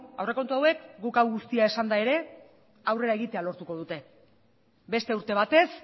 aurrekontu hauek guk hau guztia esanda ere aurrera egitea lortuko dute beste urte batez